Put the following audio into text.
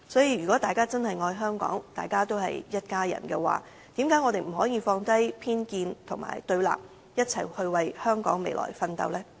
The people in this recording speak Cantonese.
如果大家真的愛香港，都是一家人，為何不可以放低偏見和對立，一起為香港的未來奮鬥？